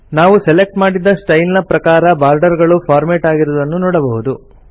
ನಾವು ಸೆಲೆಕ್ಟ್ ಮಾಡಿದ ಸ್ಟೈಲ್ ನ ಪ್ರಕಾರ ಬಾರ್ಡರ್ ಗಳು ಫಾರ್ಮೆಟ್ ಆಗಿರುವುದನ್ನು ನೋಡಬಹುದು